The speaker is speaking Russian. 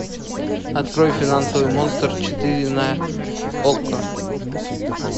открой финансовый монстр четыре на окко